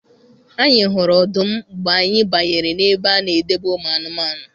Anyị hụrụ ọdụm mgbe anyị banyere n'ebe a na-edebe ụmụ anụmanụ.